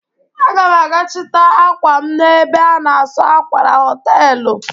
Aga m aga chịta ákwà m n'ebe a na-asụ akwa na họtelụ.